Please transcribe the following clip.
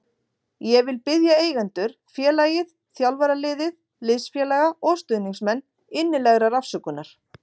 Ég vil biðja eigendur, félagið, þjálfaraliðið, liðsfélaga og stuðningsmenn innilegrar afsökunar.